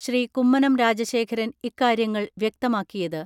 ശ്രീ. കുമ്മനം രാജശേഖരൻ ഇക്കാര്യങ്ങൾ വ്യക്തമാക്കിയത്.